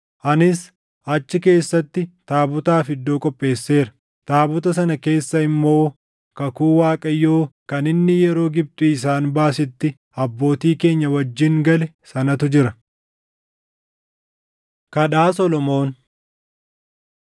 Anis achi keessatti taabotaaf iddoo qopheesseera; taabota sana keessa immoo kakuu Waaqayyoo kan inni yeroo Gibxii isaan baasetti abbootii keenya wajjin gale sanatu jira.” Kadhaa Solomoon 8:22‑53 kwf – 2Sn 6:12‑40